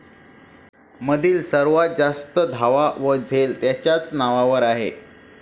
मधील सर्वात जास्त धावा व झेल त्यांच्याच नावावर आहे